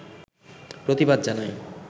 প্রতিবাদ জানায়